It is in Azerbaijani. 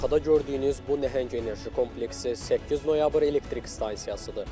Arxada gördüyünüz bu nəhəng enerji kompleksi 8 noyabr elektrik stansiyasıdır.